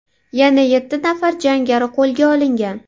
Yana yetti nafar jangari qo‘lga olingan.